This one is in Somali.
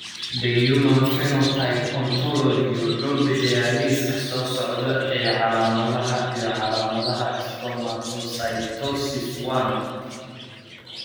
The Human Phenotype Ontology wuxuu bixiyaa liiska soo socda ee calaamadaha iyo calaamadaha Stomatocytosis I.